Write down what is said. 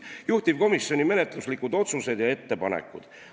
Juhtivkomisjoni menetluslikud otsused ja ettepanekud.